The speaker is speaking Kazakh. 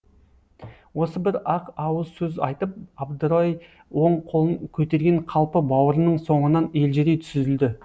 осы бір ақ ауыз сөз айтып абдырай оң қолын көтерген қалпы бауырының соңынан елжірей сүзілді